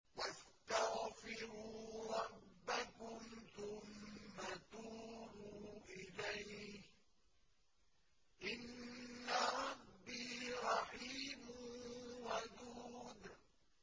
وَاسْتَغْفِرُوا رَبَّكُمْ ثُمَّ تُوبُوا إِلَيْهِ ۚ إِنَّ رَبِّي رَحِيمٌ وَدُودٌ